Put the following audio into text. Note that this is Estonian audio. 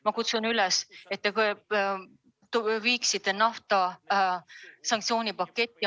Ma kutsun üles, et te paneksite ka nafta sanktsioonipaketti.